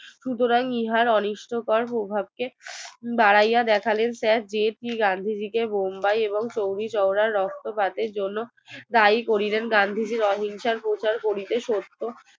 সুতোরাং ইহার অনিশ্চয়তার প্রভাবকে বাড়াইয়া দেখালেন sir d p ganguly কে মুম্বাই এবং চুরি চৌরা যাই করিলেন গান্ধী জির অহিংসার প্রচার করিতে সত্য